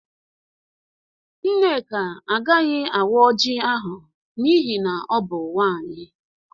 Nneka agaghị awaa Ọji ahụ n'ihi na ọ bụ nwaanyị.